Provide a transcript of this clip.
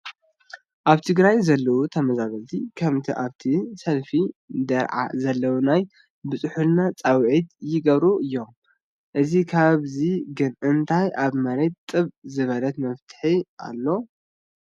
ኣብ ትግራይ ዘለዉ ተመዛበልቲ ከምቲ ኣብዚ ሰልፊ ይርአ ዘሎ ናይ ብፅሑልና ፃውዒት ይገብሩ እዮም፡፡ እስካብ ሕዚ ግን እንታይ ኣብ መሬት ጥብ ዝበለ መፍትሒ ኣሎ?